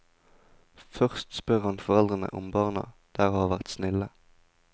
Først spør han foreldrene om barna der har vært snille.